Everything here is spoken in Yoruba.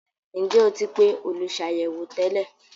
Ǹjẹ́ o ti pe “ olùsàyẹ̀wò” tẹ́lẹ̀?